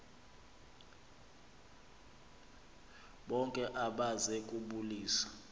bonke abeze kubulisa